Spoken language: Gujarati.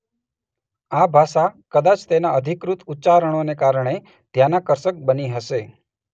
આ ભાષા કદાચ તેના અધિકૃત ઉચ્ચારણોને કારણે ધ્યાનાકર્ષક બની હશે.